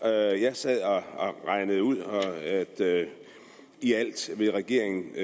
jeg sad og regnede ud at i alt vil regeringen